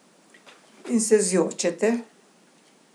In se zjočete.